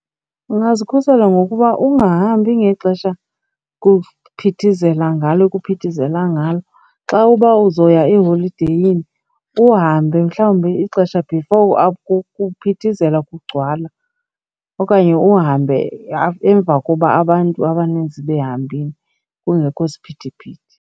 Ungazuzikhusela ngokuba ungahambi ngexesha kuphithizela ngalo kuphithizela ngalo. Xa uba uzoya eholideyini uhambe mhlawumbi mna ixesha before kuphithizela kugcwala okanye uhambe emva kuba abantu abaninzi behambile, kungekho siphithiphithi.